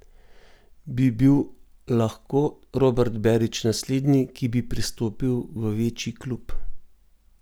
Bi bil lahko Robert Berić naslednji, ki bi prestopil v večji klub?